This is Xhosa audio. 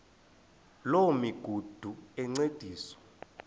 loo migudu encediswa